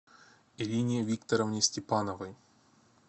ирине викторовне степановой